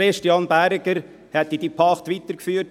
Christian Berger hätte diese Pacht weitergeführt.